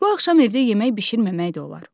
Bu axşam evdə yemək bişirməmək də olar.